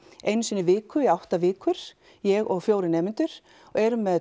einu sinni í viku í átta vikur ég og fjórir nemendur og erum með